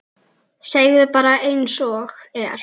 Segðu bara einsog er.